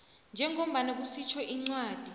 njengoba kusitjho incwadi